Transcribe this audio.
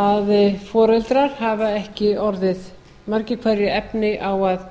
að foreldrar hafa ekki orðið margir hverjir efni á að